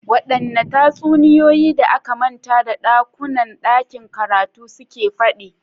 Waɗanne tatsuniyoyi da aka manta da ɗakunan ɗakin karatu suke faɗi?